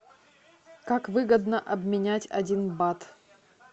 как выгодно обменять один бат